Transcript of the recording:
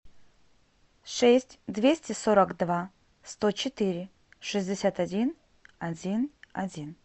шесть двести сорок два сто четыре шестьдесят один один один